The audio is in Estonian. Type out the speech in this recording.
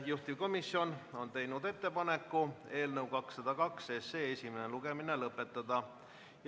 Juhtivkomisjon on teinud ettepaneku eelnõu 202 esimene lugemine lõpetada.